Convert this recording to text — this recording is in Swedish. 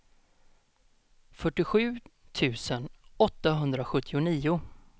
fyrtiosju tusen åttahundrasjuttionio